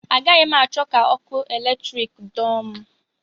Agaghị m achọ ka ọkụ eletrik dọọ m